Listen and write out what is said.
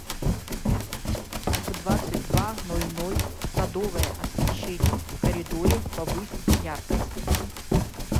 в двадцать два ноль ноль садовое освещение в коридоре повысь яркость